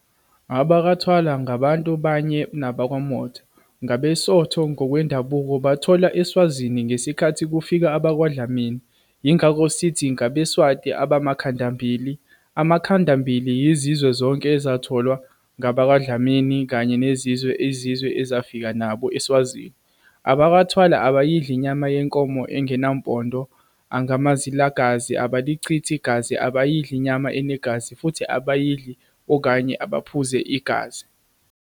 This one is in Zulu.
AbakwaThwala ngabantu banye nabakwaMotha, ngabeSotho ngokwendabuko, batholwa eSwazini ngeskhathi kufika abakwaDlamini yingakho sithi ngabeSwati abamakhandambili, amakhandambili yizizwe zonke ezatholwa ngabakwaDlamini, kanye nezinye izizwe ezafika nabo, eSwazini. abakwaThwala abayidli inyama yenkomo engenampondo, angamazilagazi, abalichithi igazi, abayidli inyama enegazi futhi abadli okanye baphuze igazi.